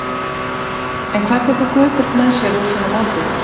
En hvað tekur Guðbjörg með sér úr svona móti?